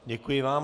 Děkuji vám.